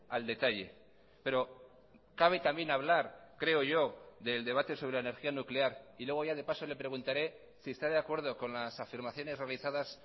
al detalle pero cabe también hablar creo yo del debate sobre la energía nuclear y luego ya de paso le preguntaré si está de acuerdo con las afirmaciones realizadas